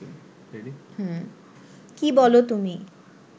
কী বলো তুমি